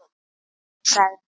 Nei, nei sagði hann.